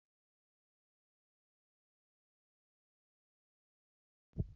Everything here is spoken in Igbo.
N'afọ gara aga, masquerade masịrị onye ọ bụla.